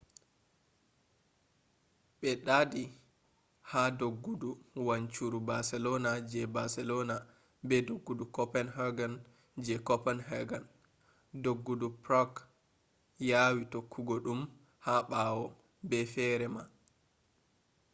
be ɗaaɗi ha doggudu wancuru barcelona je barcelona be doggudu copenhagen je copenhagen doggudu prague yawi tokkugo ɗum ha ɓawo be feere ma